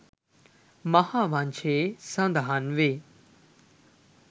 මහාවංශයේ සඳහන්වේ.